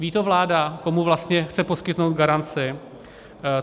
Ví to vláda, komu vlastně chce poskytnout garanci?